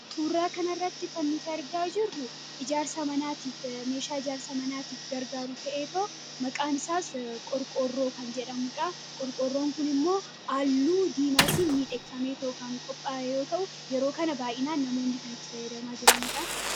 tuurraa kanarratti kannuta argaa jirru iaarsa anaatiif meeshaa ijaarsa manaatiif gargaaruu ta'ee too maqaan isaas qorqorroo kan jedhamudha qorqorroon kun immoo alluu diimaatiin miidheekkamee tookaan qophaayoo ta'u yeroo kana baa'inaan namoonni kan itti fayyadamaa jilaniidha